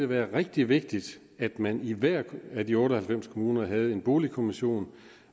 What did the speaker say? være rigtig vigtigt at man i hver af de otte og halvfems kommuner havde en boligkommission